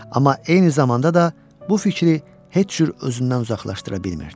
Amma eyni zamanda da bu fikri heç cür özündən uzaqlaşdıra bilmirdi.